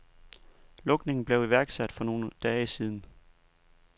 Lukningen blev iværksat for nogen dage siden.